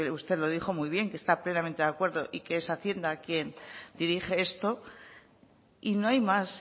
usted lo dijo muy bien que está plenamente de acuerdo y que es hacienda quien dirige esto y no hay más